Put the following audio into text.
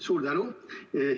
Suur tänu!